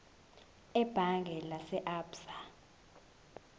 ebhange lase absa